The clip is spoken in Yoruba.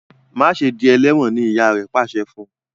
Ma ṣe dì eléwòn! ní ìyá rẹ pàṣẹ fún.